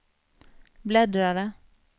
bläddrare